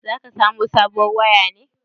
Zaka samo sabuwar waya ne?